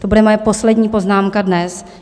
To bude moje poslední poznámka dnes.